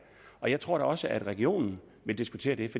jeg tror da også at regionerne vil diskutere det